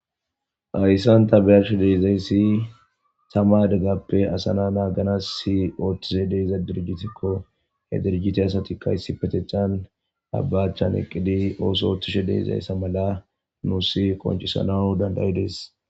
Hayssan ta beyashe deezayssi tama adeggappe asana naagana si ooththize deiza dirgitikko he dirjite asatikkayssi patechan abbachan eqqidi ooso ooththishe deezayssa mala nuusi qoncisanau dandayides